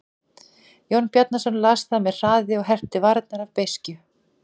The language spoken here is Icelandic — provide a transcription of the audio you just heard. Jón Bjarnason las það með hraði og herpti varirnar af beiskju.